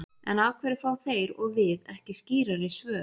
En af hverju fá þeir og við ekki skýrari svör?